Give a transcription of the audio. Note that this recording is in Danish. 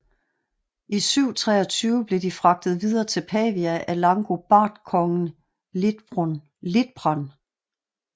I 723 blev de fragtet videre til Pavia af langobardkongen Liutprand